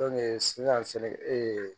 sisan sɛnɛkɛ